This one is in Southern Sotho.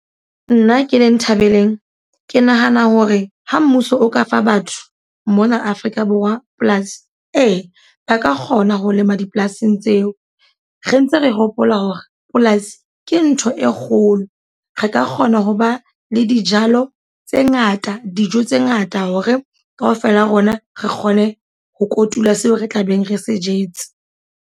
Nna ke leng Nthabeleng. Ke nahana hore ha mmuso o ka fa batho mona Afrika Borwa polasi. Ee, ba ka kgona ho lema dipolasing tseo. Re ntse re hopola hore polasi ke ntho e kgolo. Re ka kgona ho ba le dijalo tse ngata, dijo tse ngata hore ka ofela rona re kgone ho kotula seo re tlabeng re se etse.